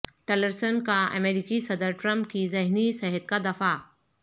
Tillerson کا امریکی صدر ٹرمپ کی ذہنی صحت کا دفاع